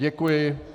Děkuji.